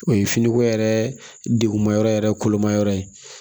O ye finiko yɛrɛ degun ma yɔrɔ yɛrɛ kolomayɔrɔ ye